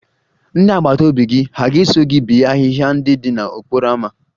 Ndị agbata obi gị hà ga-eso gị bee ahịhịa ndị dị n'okporo ámá?